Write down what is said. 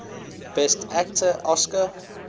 best actor oscar